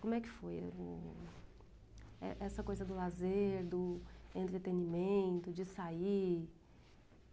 Como é que foi o o o é essa coisa do lazer, do entretenimento, de sair?